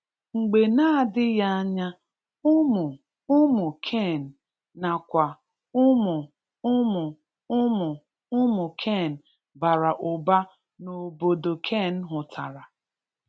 Mgbe na adịghị anya, ụmụ ụmụ Cain na kwa ụmụ ụmụ ụmụ ụmụ Cain bara ụba n'obodo Cain hụtara.